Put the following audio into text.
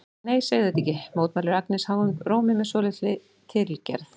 Nei, segðu þetta ekki, mótmælir Agnes háum rómi með svolítilli tilgerð.